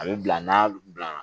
A bɛ bila n'a bila